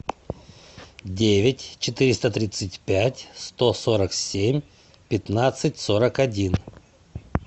девять четыреста тридцать пять сто сорок семь пятнадцать сорок один